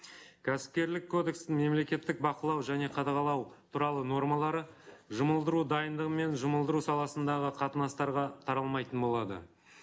кәсіпкерлік кодекстің мемлекеттік бақылау және қадағалау туралы нормалары жұмылдыру дайындығы мен жұмылдыру саласындағы қатынастарға таралмайтын болады